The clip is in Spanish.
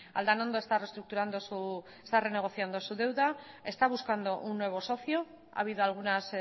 aldanondo está renegociando su deuda está buscando un nuevo socio ha habido algunos